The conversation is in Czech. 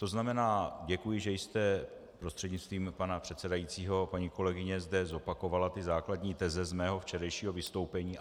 To znamená, děkuji, že jste, prostřednictvím pana předsedajícího paní kolegyně, zde zopakovala ty základní teze z mého včerejšího vystoupení.